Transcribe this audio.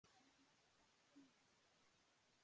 Þær munu alltaf fylgja okkur.